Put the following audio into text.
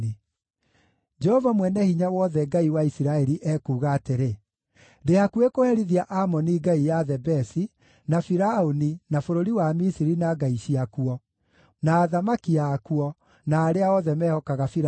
Jehova Mwene-Hinya-Wothe, Ngai wa Isiraeli, ekuuga atĩrĩ: “Ndĩ hakuhĩ kũherithia Amoni ngai ya Thebesi, na Firaũni, na bũrũri wa Misiri na ngai ciakuo, na athamaki akuo, na arĩa othe mehokaga Firaũni.